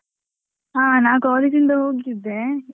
ಹಾ ನಾ college ಇಂದ ಹೋಗಿದ್ದೆ.